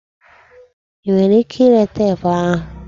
I nwere ike ire teepu ahụ?